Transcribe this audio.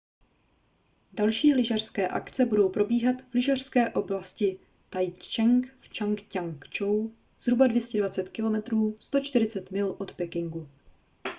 další lyžařské akce budou probíhat v lyžařské oblasti taizicheng v čang-ťia-kchou zhruba 220 km 140 mil od pekingu